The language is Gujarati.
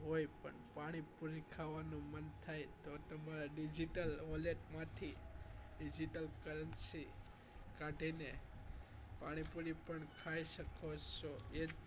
પણ પાણીપુરી ખાવાનું મન થાય તો તમારે digital wallet માંથી digital currency કાઢીને પાણીપુરી પણ ખાઈ શકો છો એ જ હોય